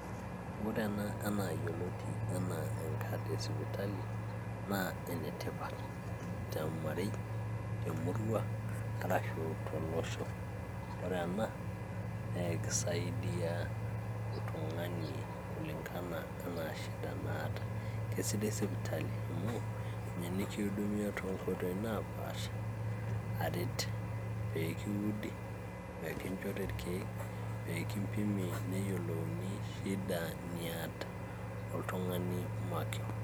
ore ena enaa yioloti enaa enkad e sipitali naa enetipat teomarei te murua arashu tolosho ore ena naa ekisaidia oltung'ani kulingana enaa shida naata kesidai sipitali amuu ninye nikiudumia toonkoitoi naapasha aret peekiudi, peekinchori irkeek peekimpimi neyiolouni shida niata oltung'ani makewon.